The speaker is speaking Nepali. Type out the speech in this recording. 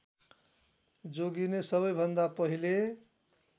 जोगिने सबैभन्दा पहिले